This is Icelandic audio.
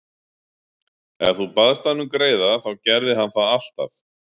Ef þú baðst hann um greiða þá gerði hann það alltaf.